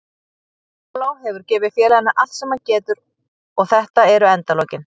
Paulo hefur gefið félaginu allt sem hann getur og þetta eru endalokin.